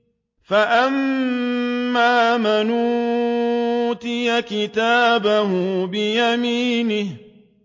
فَأَمَّا مَنْ أُوتِيَ كِتَابَهُ بِيَمِينِهِ